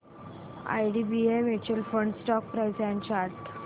IDBI mutual fund stock price and chart